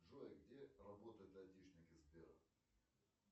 джой где работают айтишники сбера